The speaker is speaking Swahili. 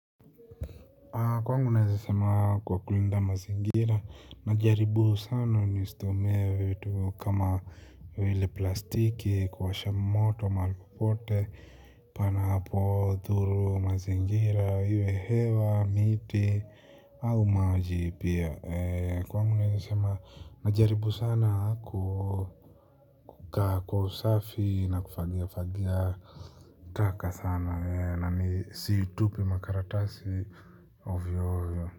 Kwangu naweza sema kwa kulinda mazingira. Najaribu sana nisitumie vitu kama vile plastiki kuwasha moto mali popote panapo dhuru mazingira iwe hewa miti au maji pia. Kwa wangu naweza sema najaribu sana kukaa kwa usafi na kufagia fagia. Taka sana na ni situpi makaratasi ovyo ovyo.